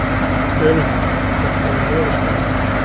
Önundur, hvernig er veðurspáin?